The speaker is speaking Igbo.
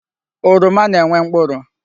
Oroma na-enwe mkpụrụ.